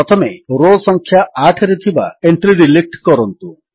ପ୍ରଥମେ ରୋ ସଂଖ୍ୟା 8ରେ ଥିବା ଏଣ୍ଟ୍ରୀ ଡିଲିଟ୍ କରନ୍ତୁ